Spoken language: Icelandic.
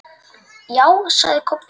Já, sagði Kobbi.